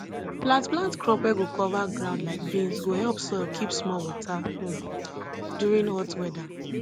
plant plant crop wey go cover ground like beans go help soil keep small water um during hot weather